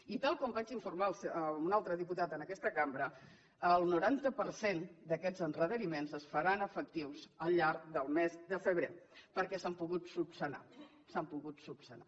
i tal com vaig informar un altre diputat en aquesta cambra el noranta per cent d’aquests endarreriments es faran efectius al llarg del mes de febrer perquè s’han pogut esmenar s’han pogut esmenar